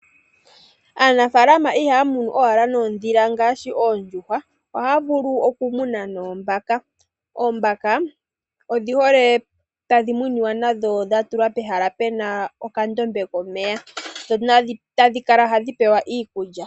Aanafaalama ihaya munu owala noondhila ngaashi oondjuhwa ohaya vulu okumuna noombaka. Oombaka odhihole tadhi muniwa nadho dhatulwa pehala puna okandombe komeya, tadhi kala hadhi pewa iikulya.